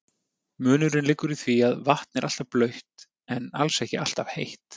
Munurinn liggur í því að vatn er alltaf blautt en alls ekki alltaf heitt.